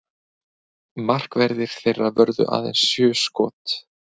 Markverðir þeirra vörðu aðeins sjö skot